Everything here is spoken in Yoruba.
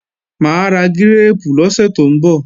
Mà á ra gírèèpù lọ́sẹ̀ tó ń bọ̀